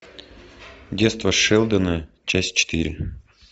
детство шелдона часть четыре